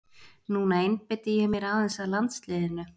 Núna einbeiti ég mér aðeins að landsliðinu.